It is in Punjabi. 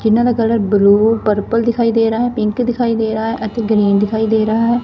ਇਹਨਾਂ ਦਾ ਕਲਰ ਬਲੂ ਪਰਪਲ ਦਿਖਾਈ ਦੇ ਰਹਾ ਹੈ ਪਿੰਕ ਦਿਖਾਈ ਦੇ ਰਹਾ ਹੈ ਅਤੇ ਗ੍ਰੀਨ ਦਿਖਾਈ ਦੇ ਰਹਾ ਹੈ।